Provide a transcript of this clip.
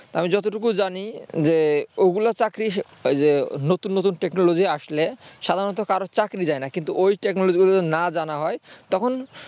আমি যতটুকু জানি যে ওগুলো চাকরি হিসেবে নতুন নতুন technology আসলে সাধারণত কারো চাকরি যায় না কিন্তু ওই technology গুলো যদি না জানা হয় তখন